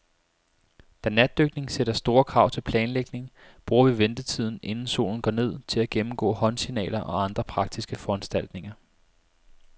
Da natdykning sætter store krav til planlægning, bruger vi ventetiden, inden solen går ned, til at gennemgå håndsignaler og andre praktiske foranstaltninger.